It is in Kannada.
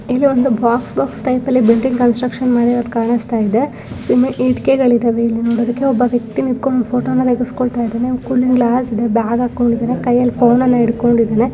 ಇದೊಂದು ಬಾಕ್ಸ್ ಬಾಕ್ಸ್ ಟೈಪ್ ಅಲ್ಲಿ ಬಿಲ್ಡಿಂಗ್ ಕನ್ಸ್ಟ್ರಕ್ಷನ್ ಮಾಡಿರೋದು ಕಾಣಿಸ್ತಾ ಇದೆ ಇಟ್ಟಿಗೆಗಳಿದಾವೆ ಇಲ್ಲಿ ನೋಡೋದಿಕ್ಕೆ ಒಬ್ಬ ವ್ಯಕ್ತಿ ನಿಂತ್ಕೊಂಡ್ ಫೋಟೋ ನ ತೆಗಿಸ್ಕೊಳ್ತ ಇದ್ದಾನೆ ಕೂಲಿಂಗ್ ಗ್ಲಾಸ್ ಇದೆ ಬ್ಯಾಗ್ ಹಾಕೊಂಡಿದಾನೆ ಕೈಯಲ್ಲಿ ಫೋನ್ ನನ್ನ ಹಿಡ್ಕೊಂಡಿದಾನೆ.